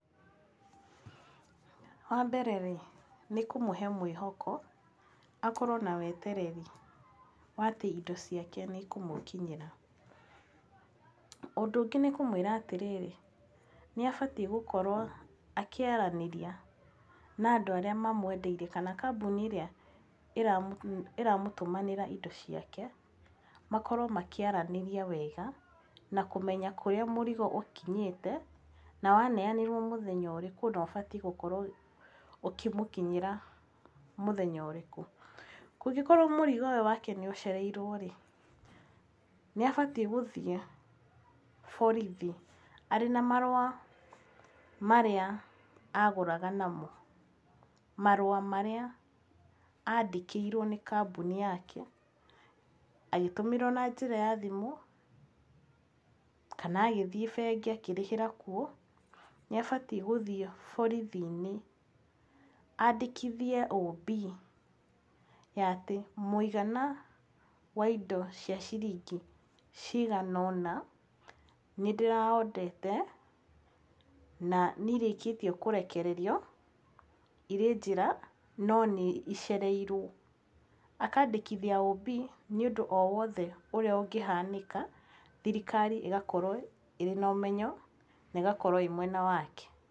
Wambere rĩ nĩ kũmũhe mwĩhoko akorwo na wetereri wa atĩ indo ciake nĩ ikũmũkinyĩra. Ũndũ ũngĩ nĩ kũmwĩra atĩrĩrĩ nĩ abatiĩ gũkorwo akĩaranĩria na andũ arĩa mamũendeirie kana kambuni ĩrĩa ĩramũtũmanĩra indo ciake. Makorwo makĩaranĩria wega na kũmenya kũrĩa mũrigo ũkinyĩte, na waneanirwo mũthenya ũrĩku na ũbatiĩ gũkorwo ũkĩmũkinyĩra mũthenya ũrĩkũ. Kũngĩkorwo mũrigo ũyũ wake nĩ ũcereirwo rĩ, nĩ abatiĩ gũthiĩ borithi arĩ na marũa marĩa agũraga namo. Marũa marũa marĩa andĩkĩirwo nĩ kambuni yake agĩtũmĩrwo na njĩra ya thimũ, kana agĩthiĩ bengi akĩrĩhĩra kuo. Nĩ abatiĩ gũthiĩ borithi-inĩ aandĩkithie OB ya atĩ mũigana wa indo cia ciringi cigana ũna nĩ ndĩra order te na nĩ irĩkĩtie kũrekererio irĩ njĩra no nĩ icereirwo. Akaandĩkithia OB nĩ ũndũ o wothe ũrĩa ũngĩhanĩka. Thirikari ĩgakorwo ĩna ũmenyo na ĩgakorwo ĩĩ mwena wake.